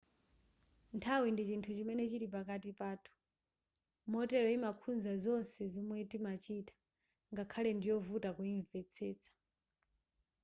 nthawi ndi chinthu chimene chili pakati pathu motero yimakhudza zonse zomwe timachita ngakhale ndiyovuta kuyimvetsetsa